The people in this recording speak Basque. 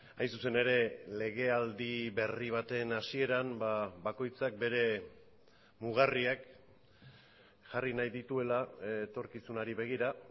hain zuzen ere legealdi berri baten hasieran bakoitzak bere mugarriak jarri nahi dituela etorkizunari begira